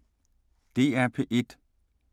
DR P1